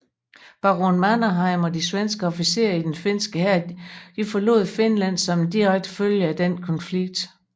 Baron Mannerheim og de svenske officerer i den finske hær forlod Finland som en direkte følge af denne konflikt